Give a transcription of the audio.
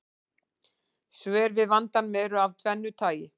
Svör við vandanum eru af tvennu tagi.